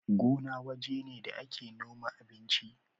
Gona waje ne da ake noma abinci